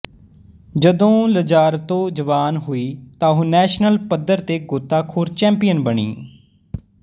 ਜਦੋਂ ਲਜ਼ਾਰਤੋ ਜਵਾਨ ਹੋਈ ਤਾਂ ਉਹ ਨੈਸ਼ਨਲ ਪੱਧਰ ਤੇ ਗੋਤਾਖੋਰ ਚੈਂਪੀਅਨ ਬਣੀ